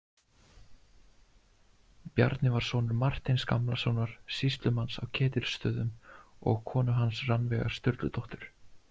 Bjarni var sonur Marteins Gamlasonar, sýslumanns á Ketilsstöðum, og konu hans Rannveigar Sturludóttur.